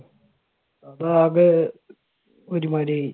ഇപ്പൊ ആകെ ഒരുമാതിരി